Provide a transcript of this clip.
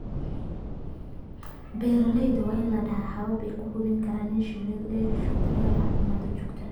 Beeralayda waa inay lahaadaan habab ay ku hubiyaan in shinnidu ay hesho daryeel caafimaad oo joogto ah.